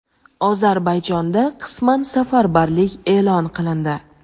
Ozarbayjonda qisman safarbarlik e’lon qilindi.